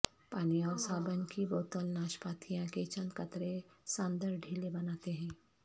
پانی اور صابن کی بوتل ناشپاتیاں کے چند قطرے ساندر ڈھیلے بناتے ہیں